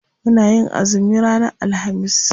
Muna yin azumi ranar alhamis.